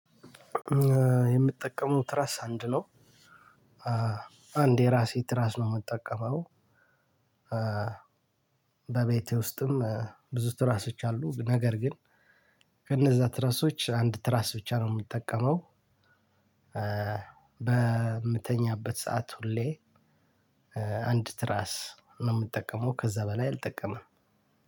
የምጠቀመው ትራስ አንድ ነው። አንድ የራሴ ትራስ ነው የምጠቀመው። በቤቴ ውስጥም ብዙ ትራሶች አሉ ነገር ግን። ከነዛ ትራሶች አንድ ትራስ ብቻ ነው የምጠቀመው። በምተኛበት ሰዓት ሁሌ። አንድ ትራስ ነው የምጠቀመው ከዛ በላይ አልጠቀምም።